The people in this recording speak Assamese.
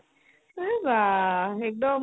এই ৱাহ্ ! একদম